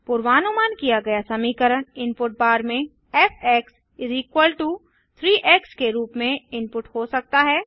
पूर्वानुमान किया गया समीकरण इनपुट बार में फ़ 3 एक्स के रूप में इनपुट हो सकता है